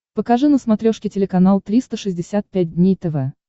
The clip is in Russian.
покажи на смотрешке телеканал триста шестьдесят пять дней тв